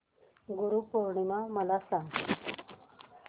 गुरु पौर्णिमा मला सांग